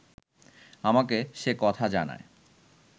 আমাকে সে কথা জানায়